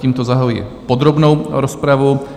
Tímto zahajuji podrobnou rozpravu.